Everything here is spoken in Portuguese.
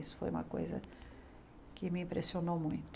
Isso foi uma coisa que me impressionou muito.